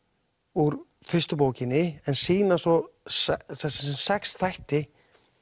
úr fyrstu bókinni en sýna svo sex þætti